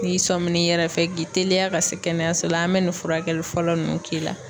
N'i sɔmin'i yɛrɛ fɛ k'i teliya ka se kɛnɛyaso la an bɛ nin furakɛli fɔlɔ ninnu k'i la.